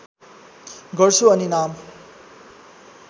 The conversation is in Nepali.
गर्छु अनि नाम